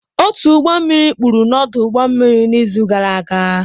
Otu ụgbọ mmiri kpuru n'ọdụ ụgbọ mmiri n'izu gara aga